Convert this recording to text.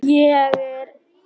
Ég er einsog þessi stúlka.